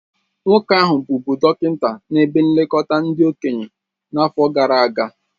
Nwoke ahụ bụbụ dọkịnta na ebe nlekọta ndị okenye n'afọ gara aga